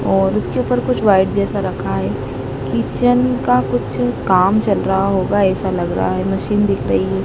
और उसके ऊपर कुछ व्हाइट जैसा कुछ रखा है किचन का कुछ काम चल रहा होगा ऐसा लग रहा है मशीन दिख रही है --